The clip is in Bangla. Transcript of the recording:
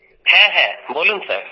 হ্যাঁ হ্যাঁ বলুন স্যার